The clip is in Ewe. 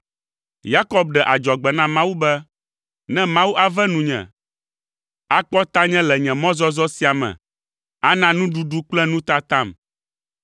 Yakob ɖe adzɔgbe na Mawu be, “Ne Mawu ave nunye, akpɔ tanye le nye mɔzɔzɔ sia me, ana nuɖuɖu kple nutatam,